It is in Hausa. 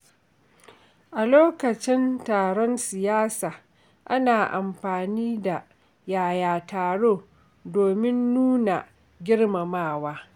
A lokacin taron siyasa, ana amfani da “Yaya taro?” domin nuna girmamawa.